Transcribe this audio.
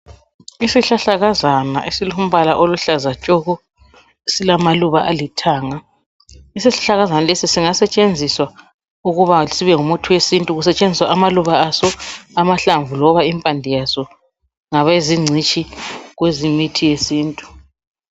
Isihlahlakazana esilombala oluhlaza tshoko silamaluba alithanga isihlahlakazana lesi singasetshenziswa ukuba sibe ngumuthi wesintu kusetshenziswa amaluba aso amahlamvu loba impande yaso ngabezigcitshi kwezemithi yesintu.